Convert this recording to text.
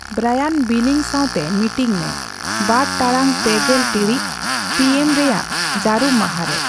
ᱵᱨᱟᱭᱟᱱ ᱵᱤᱞᱤᱝ ᱥᱟᱣᱛᱮ ᱢᱤᱴᱤᱝ ᱢᱮ ᱵᱟᱨ ᱴᱟᱲᱟᱝ ᱯᱮᱜᱮᱞ ᱴᱤᱬᱤᱡ ᱯᱤᱹ ᱮᱢᱹ ᱨᱮᱭᱟᱜ ᱡᱟᱹᱨᱩᱢ ᱢᱟᱦᱟ ᱨᱮ